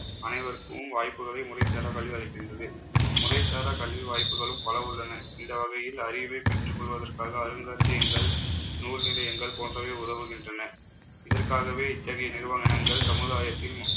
அனைவருக்கும் வாய்ப்புகளை, முறைசாரா கல்வி அளிக்கிறது முறைசாரா கல்வி வாய்ப்புகளும் பலவுள்ளன. இந்த வகையில் அறிவை பெற்றுக் கொள்வதற்காக அருங்காட்சியகங்கள் நூல் நிலையங்கள் போன்றவை உதவுகின்றன. இதற்காகவே இத்தகைய நிறுவனங்கள் சமுதாயத்தின்